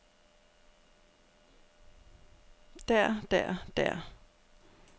der der der